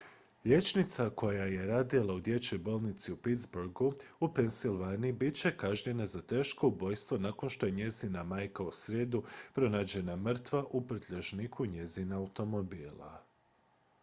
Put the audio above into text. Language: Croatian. liječnica koji je radila u dječjoj bolnici u pittsburgu u pennsylvaniji bit će kažnjena za teško ubojstvo nakon što je njezina majka u srijedu pronađena mrtva u prljažniku njezina automobila